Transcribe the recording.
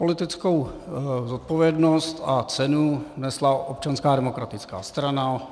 Politickou zodpovědnost a cenu nesla Občanská demokratická strana.